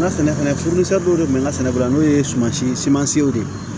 N ka sɛnɛfɛn de bɛ n ka sɛnɛ la n'o ye sumansimansiw de ye